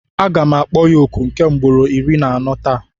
Aga m akpọ ya oku nke ugboro iri na anọ taa.